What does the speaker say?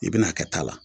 I bɛna a kɛ ta la